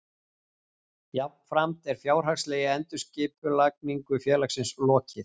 Jafnframt er fjárhagslegri endurskipulagningu félagsins lokið